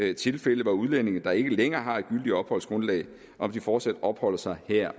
er tilfælde hvor udlændinge der ikke længere har et gyldigt opholdsgrundlag fortsat opholder sig her